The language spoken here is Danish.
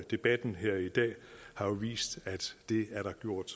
debatten her i dag har jo vist at det er der gjort